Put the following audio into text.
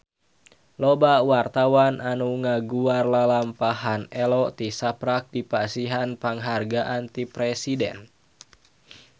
Loba wartawan anu ngaguar lalampahan Ello tisaprak dipasihan panghargaan ti Presiden